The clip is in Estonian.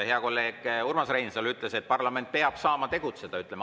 Hea kolleeg Urmas Reinsalu ütles, et parlament peab saama tegutseda.